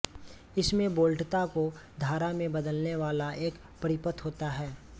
इसमें वोल्टता को धारा में बदलने वाला एक परिपथ होता है